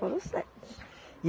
Foram os sete.